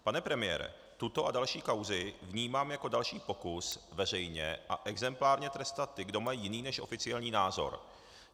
Pane premiére, tuto a další kauzy vnímám jako další pokus veřejně a exemplárně trestat ty, kdo mají jiný než oficiální názor.